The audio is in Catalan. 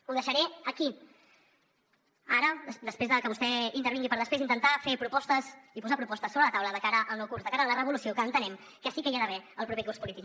ho deixaré aquí ara per després de que vostè intervingui intentar fer propostes i posar propostes sobre la taula de cara al nou curs de cara a la revolució que entenem que sí que hi ha d’haver el proper curs polític